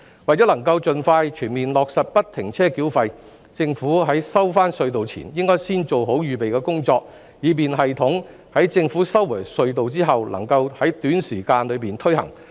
為能夠盡快全面落實不停車繳費，政府在收回隧道前應先做好預備工作，以便系統在政府收回隧道後能夠在短時間內推行。